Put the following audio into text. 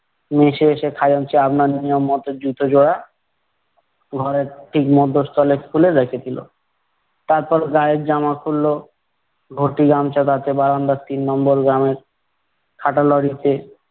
মেসে এসে খাজাঞ্চি আপনার নিয়ম মতো জুতো জোড়া ঘরের ঠিক মধ্যস্থলে খুলে রেখে দিলো। তারপর গায়ের জামা খুললো, ঘটি গামছা তাতে বারান্দার তিন নম্বর গ্রামের খাটা লরিতে